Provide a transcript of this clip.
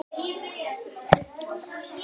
Síðar kom saltið.